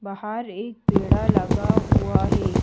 बाहर एक पेड़ा लगा हुआ है।